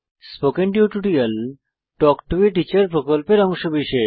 spoken tutorial talk to a teacher প্রকল্পের অংশবিশেষ